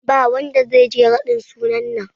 Ba wanda zai je raɗin sunan nan